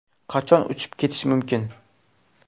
Qachon uchib ketish mumkin?